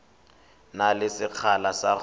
na le sekgala sa go